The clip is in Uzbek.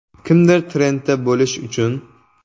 Kimdir trendda bo‘lish uchun.